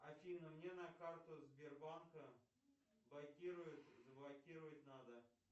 афина мне на карту сбербанка блокируют заблокировать надо